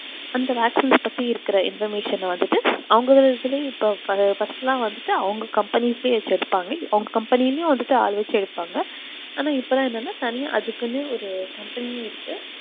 அந்த vaccines பத்தி இருக்குற information அ வந்துட்டு அவங்க இதுலயும் இப்போ first எல்லாம் வந்துட்டு அவங்க companies ஏ வச்சுருப்பாங்க அவங்க company லயும் ஆள் வச்சு எடுப்பாங்க ஆனா இப்போ எல்லாம் என்னன்னா தனியா அதுக்குன்னு ஒரு company ஏ இருக்கு